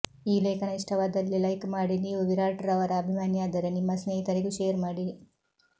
ಈ ಲೇಖನ ಇಷ್ಟವಾದಲ್ಲಿ ಲೈಕ್ ಮಾಡಿ ನೀವು ವಿರಾಟ್ ರವರ ಅಭಿಮಾನಿಯಾದರೆ ನಿಮ್ಮ ಸ್ನೇಹಿತರಿಗೂ ಶೇರ್ ಮಾಡಿ